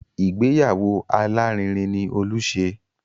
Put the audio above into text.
Ìgbéyàwó alárinrin ni Olú ṣe